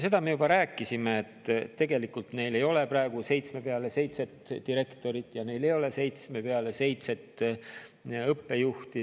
Seda me juba rääkisime, et tegelikult neil ei ole praegu seitsme peale seitset direktorit ja neil ei ole seitsme peale seitset õppejuhti.